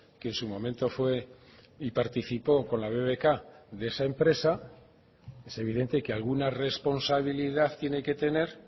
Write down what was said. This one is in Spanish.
que en su momento fue y participó con la bbk de esa empresa es evidente que alguna responsabilidad tiene que tener